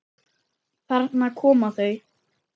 Þarna koma þau!